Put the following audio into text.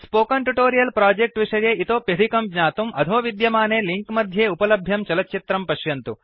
spoken tutorial project विषये इतोप्यधिकं ज्ञातुम् अधोविद्यमाने लिंक मध्ये उपलभ्यं चलच्चित्रं पश्यन्तु